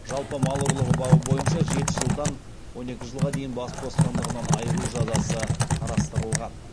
жалпы мал ұрлығы бабы бойынша жеті жылдан он екі жылға дейін бас бостандығынан айыру жазасы қарастырылған